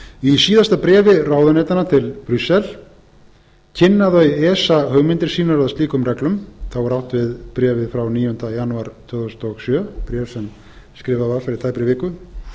í síðasta bréfi ráðuneytanna til brussel kynna þau esa hugmyndir sínar að liðum reglum þá er átt við bréfið frá níunda janúar tvö þúsund og sjö bréf sem skrifað var fyrir tæpri viku